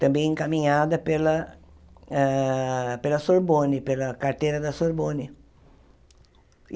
também encaminhada pela ah pela Sorbonne, pela carteira da Sorbonne.